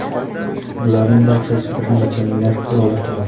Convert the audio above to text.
Bularning barchasi bir necha milliard dollar turadi.